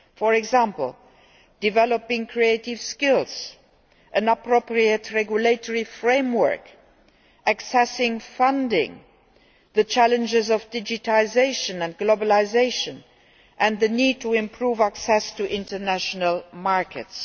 For example developing creative skills, an appropriate regulatory framework, accessing funding, the challenges of digitisation and globalisation, and the need to improve access to international markets.